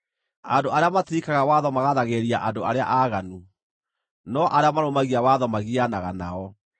Andũ arĩa matirikaga watho magaathagĩrĩria andũ arĩa aaganu, no arĩa marũmagia watho magianaga nao.